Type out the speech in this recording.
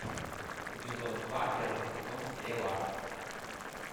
эпизод два первый сезон стрела